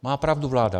Má pravdu vláda.